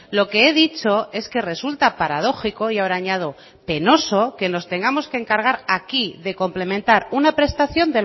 lo que he dicho es que resulta paradójico y ahora añado penoso que nos tengamos que encargar aquí de complementar una prestación